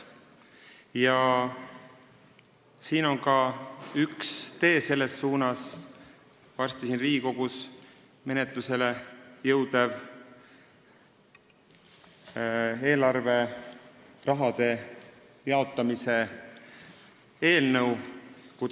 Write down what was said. Üks tee selles suunas, kuidas bürokraatiat vähendada, on ette nähtud ka varsti Riigikogus menetlusele jõudvas eelarveraha jaotamise eelnõus.